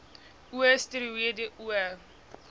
o steroïede o